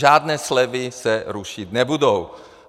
Žádné slevy se rušit nebudou!